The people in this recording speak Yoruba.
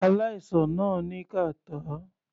Aláìsàn náà ní kàtá.